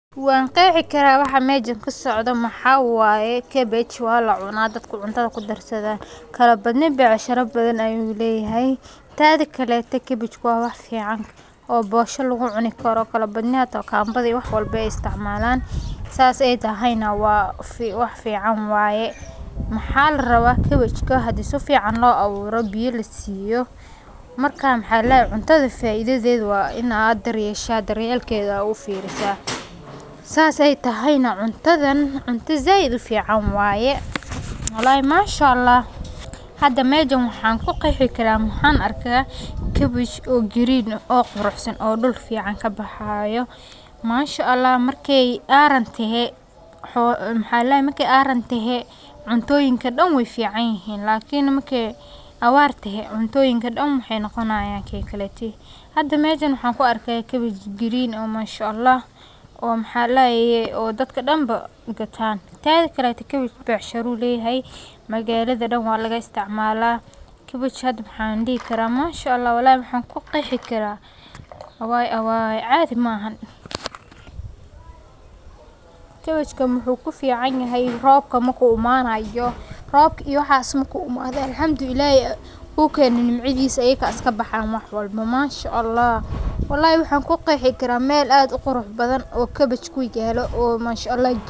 Waan qexi karaa waxa mejan kasocdo maxa waye ee cabbage waa lacuna oo cuntada lagu darsadha, Kabajka waa khudrad caan ah oo ka tirsan qoyska khudaarta cagaaran sida kaabashka iyo broccoli-ga. Waxaa laga cunaa qaybta caleenta ah, waxaana lagu isticmaalaa cuntooyin badan sida saladka, maraqyada, iyo cuntooyinka la kariyo. Waxa uu caawiyaa dheefshiidka sababtoo ah wuxuu leeyahay fiber badan, wuxuuna hoos u dhigaa baruurta dhiigga ku jirta. Dad badan oo cunto caafimaad leh doorbidaya ayaa kabajka u arka xulasho wanaagsan. Intaa waxaa dheer, kabajka waa mid sahlan in la beero lana helo, taasoo ka dhigaysa khudrad qiimo jaban oo nafci badan leh.